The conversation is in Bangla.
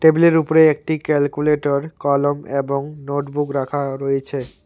টেবিলের উপরে একটি ক্যালকুলেটর কলম এবং নোটবুক রাখা রয়েছে।